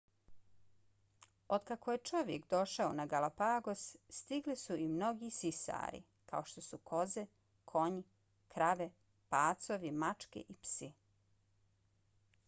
otkako je čovjek došao na galapagos stigli su i mnogi sisari kao što su koze konji krave pacovi mačke i psi